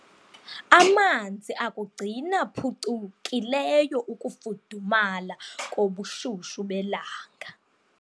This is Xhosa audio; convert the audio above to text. Amanzi akugcina phucukileyo ukufudumala kobushushu belanga.